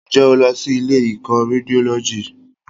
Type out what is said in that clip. Ǹjẹ́ o lọ sí ilé ìkọ́ Rédiólọ́jì?